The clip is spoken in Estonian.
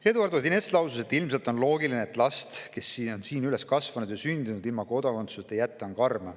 Eduard Odinets lausus, et last, kes on siin sündinud ja üles kasvanud, ilma kodakondsuseta jätta on karm.